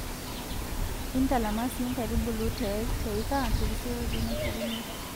Intalama sii inkaitubulu te eika terisioroto naishoruno